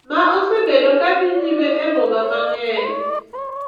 Ma osebedo ka dhi nyime e boma mang`eny.